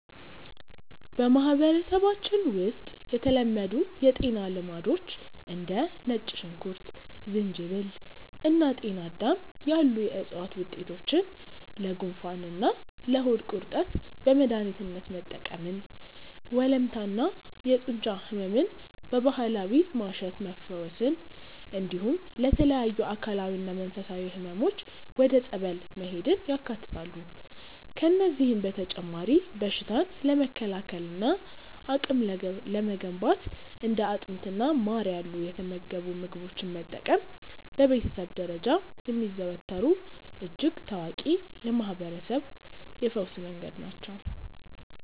በማህበረሰባችን ውስጥ የተለመዱ የጤና ልማዶች እንደ ነጭ ሽንኩርት፣ ዝንጅብል እና ጤናዳም ያሉ የዕፅዋት ውጤቶችን ለጉንፋንና ለሆድ ቁርጠት በመድኃኒትነት መጠቀምን፣ ወለምታና የጡንቻ ሕመምን በባህላዊ ማሸት መፈወስን፣ እንዲሁም ለተለያዩ አካላዊና መንፈሳዊ ሕመሞች ወደ ጸበል መሄድን ያካትታሉ። ከእነዚህም በተጨማሪ በሽታን ለመከላከልና አቅም ለመገንባት እንደ አጥሚትና ማር ያሉ የተመገቡ ምግቦችን መጠቀም በቤተሰብ ደረጃ የሚዘወተሩ እጅግ ታዋቂ የማህርበረሰብ የፈውስ መንገዶች ናቸው።